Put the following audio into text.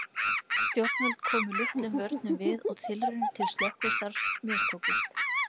Stjórnvöld komu litlum vörnum við og tilraunir til slökkvistarfs mistókust.